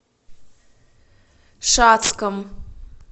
шацком